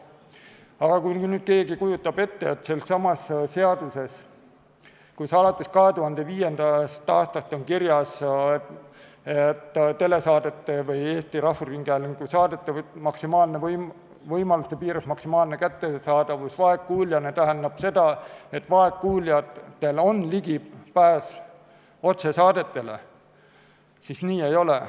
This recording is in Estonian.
Aga kui nüüd keegi kujutab ette, et kui seaduses on alates 2005. aastast kirjas Eesti Rahvusringhäälingu saadete võimaluste piires maksimaalne kättesaadavus vaegkuuljale ja see tähendab seda, et vaegkuuljatel on ligipääs otsesaadetele, siis nii ei ole.